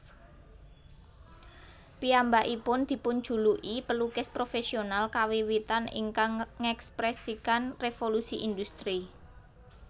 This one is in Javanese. Piyambakipun dipunjuluki pelukis profesional kawiwitan ingkang ngèkspresikan Revolusi Industri